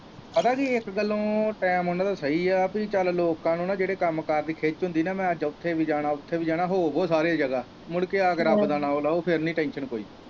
ਪਤਾ ਕੀ ਇੱਕ ਗੱਲੋਂ time ਉਹਨਾਂ ਦਾ ਸਹੀ ਹੈ ਵੀ ਚੱਲ ਲੋਕਾਂ ਨੂੰ ਨਾ ਜਿਹੜੇ ਕੰਮ ਕਾਰ ਦੀ ਖਿੱਚ ਹੁੰਦੀ ਨਾ ਮੈਂ ਅੱਜ ਉੱਥੇ ਵੀ ਜਾਣਾ ਉੱਥੇ ਵੀ ਜਾਣਾ ਹੋ ਆਉ ਸਾਰੀ ਜਗ੍ਹਾ ਮੁੜ ਕੇ ਆ ਕੇ ਰੱਬ ਦਾ ਨਾ ਲੋ ਫਿਰ ਨਹੀਂ tension ਕੋਈ।